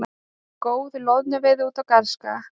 Góð loðnuveiði út af Garðskaga